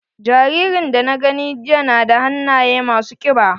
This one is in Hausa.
Jaririn da na gani jiya na da hannaye ma su ƙiba.